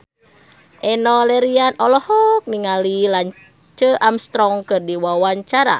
Enno Lerian olohok ningali Lance Armstrong keur diwawancara